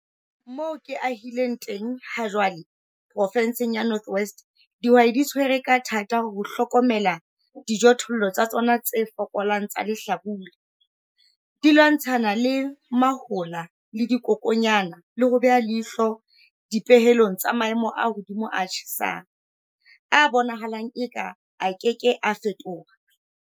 Moo ke ahileng teng hajwale Provenseng ya North West, dihwai di tshwere ka thata ho hlokomela dijothollo tsa tsona tse fokolang tsa lehlabula, di lwantshana le mahola le dikokwanyana le ho beha leihlo dipehelong tsa maemo a mahodimo a tjhesang, a bonahalang eka a ke ke a fetoha.